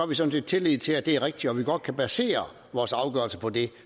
vi sådan set tillid til at det er rigtigt og at vi godt kan basere vores afgørelse på det